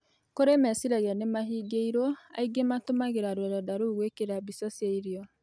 Kurĩ mecĩragĩa nĩmahĩngĩirwo aĩngĩ matũmagĩra rũrenda roũ gwĩkĩra mbĩca cĩa irĩo